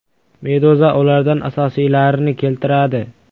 Meduza ulardan asosiylarini keltiradi .